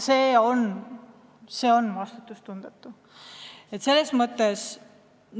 See on vastutustundetu!